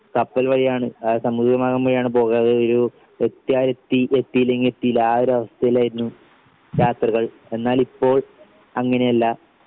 കപ്പൽ വഴിയാണ് ആ സമുദ്രമാർഗ്ഗം വഴിയാണ് പോകാറ് ഉരു എത്ത്യാലെത്തി എത്തീല്ലെങ്കി എത്തീല്ല ആഒരവസ്ഥയിലായിരുന്നു യാത്രകൾ എന്നാലിപ്പോ അങ്ങനെയല്ല